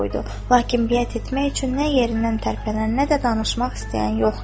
Lakin biyət etmək üçün nə yerindən tərpənən, nə də danışmaq istəyən yox idi.